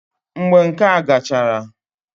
Mgbe nka gachara